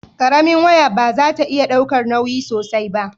karamin waya ba za ta iya daukan nauyi sosai ba